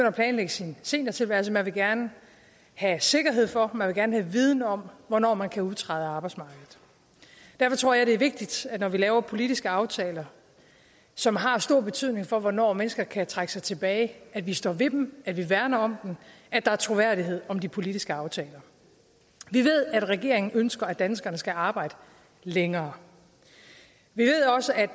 at planlægge sin seniortilværelse man vil gerne have sikkerhed for man vil gerne have viden om hvornår man kan udtræde af arbejdsmarkedet derfor tror jeg det er vigtigt når vi laver politiske aftaler som har stor betydning for hvornår mennesker kan trække sig tilbage at vi står ved dem at vi værner om dem at der er troværdighed om de politiske aftaler vi ved at regeringen ønsker at danskerne skal arbejde længere vi